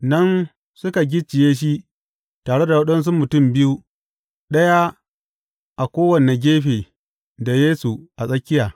Nan suka gicciye shi tare da waɗansu mutum biyu, ɗaya a kowane gefe da Yesu a tsakiya.